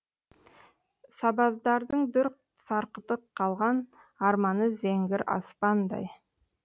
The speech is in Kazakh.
сабаздардың дүр сарқыты қалған арманы зеңгір аспандай